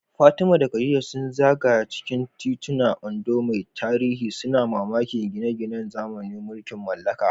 Fatima da Khadija sun zagaya cikin titunan Ondo mai tarihi, suna mamakin gine-ginen zamanin mulkin mallaka.